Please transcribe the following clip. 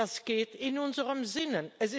Das ist in unserem Sinne.